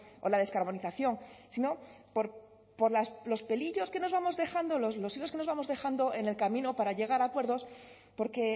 o la descarbonización sino por los pelillos que nos vamos dejando los hilillos que nos estamos dejando en el camino para llegar a acuerdos porque